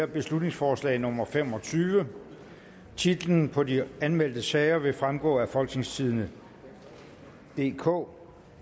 beslutningsforslag nummer b fem og tyve titler på de anmeldte sager vil fremgå af folketingstidende DK